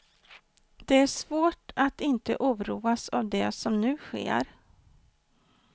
Det är svårt att inte oroas av det som nu sker.